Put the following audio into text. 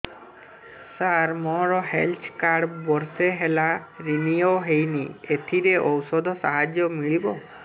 ସାର ମୋର health card ବର୍ଷେ ହେଲା ରିନିଓ ହେଇନି ଏଥିରେ ଔଷଧ ସାହାଯ୍ୟ ମିଳିବ